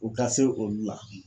U ka se olu la